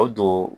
O don